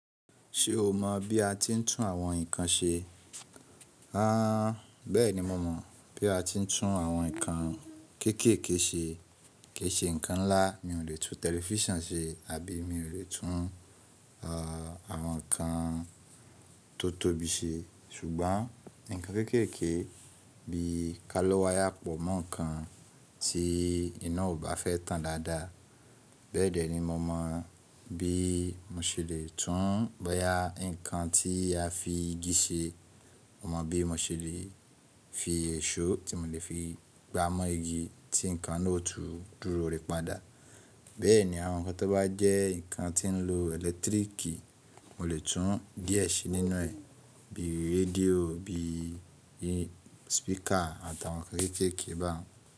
Ṣé o mọ̀ bí a ti ń tún àwọn nǹkan ṣe? Haa, bẹ́ẹ̀ni mo mọ̀ bí a ti ń tún àwọn nǹkan kéékèèké ṣe. Kéèṣe nǹkan ńlá, mi ò lè tún tẹlifíṣàn ṣe àbí mi ò lè tún àwọn nǹkan tó tóbi ṣe. Ṣùgbọ́n, ǹkan kéékèèké bí kálọ́ wàyá pọ̀ mọ́ ǹkan tí iná ò bá fẹ́ tàn dáadáa. Bẹ́ẹ̀ dẹ́ ni mo mọ̀ bí mo ṣe lè tún boyà nǹkan tí a fi igi ṣe. Mo mọ̀ bí mo ṣe lè fi èṣó tí mo lè fi gbá mọ́ igi tí nǹkan náà ó tú dúró rẹ padà. Bẹ́ẹ̀ ni àwọn nǹkan tó bá jẹ́ nǹkan tí ń lo ẹ̀lẹ́tíríkì, mo lè tún díẹ̀ ṣe nínú ẹ̀, bíi rédíò, bíi speaker àtàwọn nǹkan kéékèèké ba un.